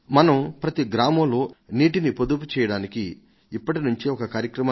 మనం ప్రతి గ్రామంలో నీటిని పొదుపుచేయడానికి ఇప్పటి నుంచే ఒక కార్యక్రమాన్ని నిర్వహించగలమా